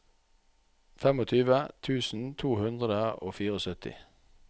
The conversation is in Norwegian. tjuefem tusen to hundre og syttifire